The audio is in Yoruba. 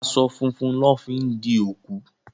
Aṣọ funfun lọ fi di òkú